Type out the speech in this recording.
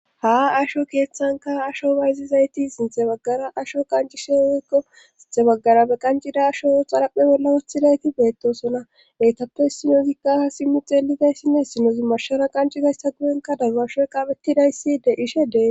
Ha asho keeththanka asho bayzizayti sinthe baggara asho qancishe woykko sinte baggara be qancida asho xaraphe bolla woththidayti beettosona eytappe sinozikka simmi xeelidayssinne sinozi mashara qancizaysta guyenka dabbasho qaapettidaysside ishedee..